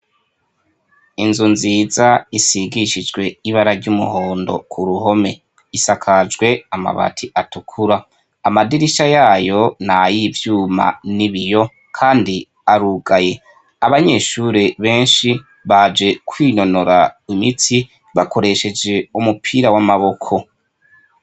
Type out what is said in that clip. Inzu nziza isigishijwe ibara ry'umuhondo, kuruhome isakajwe amabati atukura, amadirisha yayo n'ayivyuma n'ibiyo kandi arugaye, abanyeshure benshi baje kwinonora imitsi bakoresheje umupira w'amaboko.